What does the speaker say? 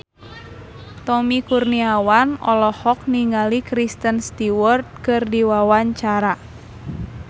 Tommy Kurniawan olohok ningali Kristen Stewart keur diwawancara